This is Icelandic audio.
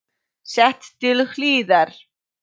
Sett til hliðar.